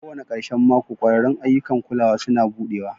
Kowane ƙarshen mako, ƙwararrun ayyukan kulawa suna buɗewa.